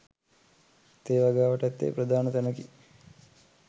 තේ වගාවට ඇත්තේ ප්‍රධාන තැනකි.